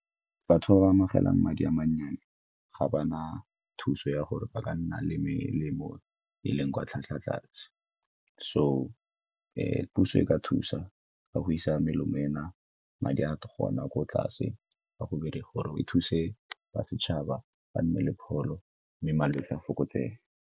Batho ba ba amogelang madi a mannyane ga ba na thuso ya gore ba ka nna le melemo e leng kwa tlhwatlhwa tlase. So puso ka thusa ka go isa melemo ena madi a ko tlase ka gore e thuse ba setšhaba ba nne le pholo mme malwetse a fokotsege.